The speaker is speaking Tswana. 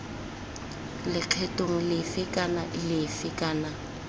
lekgethong lefe kana lefe kana